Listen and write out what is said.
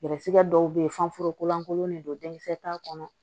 Gɛrɛsɛgɛ dɔw be ye f'anforo kolankolon de don denmisɛnnin t'a kɔnɔ